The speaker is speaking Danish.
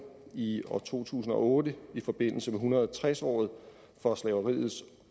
i to tusind og otte i forbindelse med en hundrede og tres året for slaveriets